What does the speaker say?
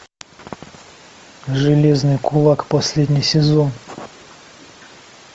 железный кулак последний сезон